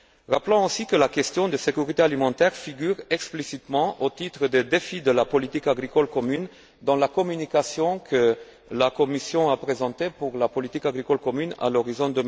Rappelons aussi que la question de la sécurité alimentaire figure explicitement au titre des défis de la politique agricole commune dans la communication que la Commission a présentée pour la politique agricole commune à l'horizon